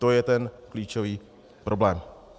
To je ten klíčový problém.